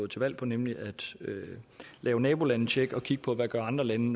til valg på nemlig at lave nabolandetjek og kigge på hvad andre lande